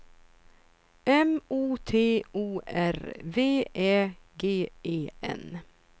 M O T O R V Ä G E N